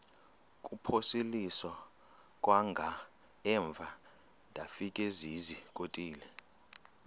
kuphosiliso kwangaemva ndafikezizikotile